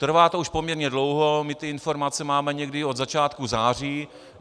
Trvá to už poměrně dlouho, my ty informace máme někdy od začátku září.